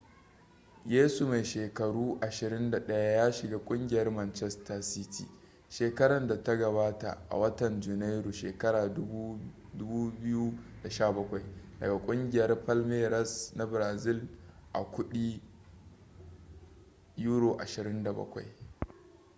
yesu mai shekaru 21 ya shiga kungiyar manchester city shekaran da ta gabata a watan janairu shekara 2017 daga kugiyar palmeiras na brazil a kudi £27